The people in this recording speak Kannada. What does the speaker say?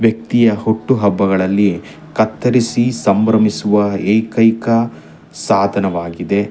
ವ್ಯಕ್ತಿಯ ಹುಟ್ಟುಹಬ್ಬಗಳಲಿ ಕತ್ತರಿಸಿ ಸಂಭ್ರಮಿಸುವ ಏಕೈಕ ಸಾಧನವಾಗಿದೆ.